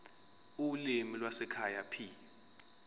ulimi lwasekhaya p